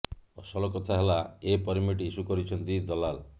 ଅସଲ କଥା ହେଲା ଏ ପରମିଟ୍ ଇସ୍ୟୁ କରିଛନ୍ତି ଦଲାଲ୍